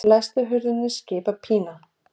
Læstu hurðinni, skipar Pína.